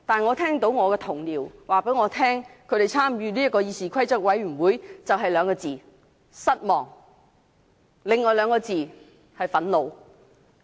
然而，我的同事告訴我，他們參與議事規則委員會感到的就只有"失望"兩個字，以及另外的兩個字，就是"憤怒"。